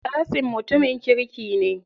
Kasim mutumin kirki ne.